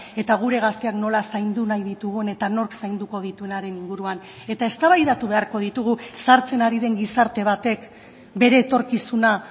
eta gure gazteak nola zaindu nahi ditugun eta nork zainduko dituenaren inguruan eta eztabaidatu beharko ditugu zahartzen ari den gizarte batek bere etorkizuna